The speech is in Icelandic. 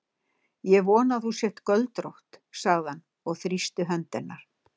Ég vona að þú sért göldrótt, sagði hann og þrýsti hönd hennar.